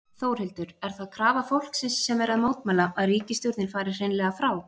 Þórhildur: Er það krafa fólksins sem er að mótmæla, að ríkisstjórnin fari hreinlega frá?